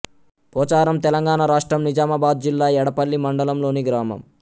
పొచారం తెలంగాణ రాష్ట్రం నిజామాబాద్ జిల్లా ఎడపల్లి మండలంలోని గ్రామం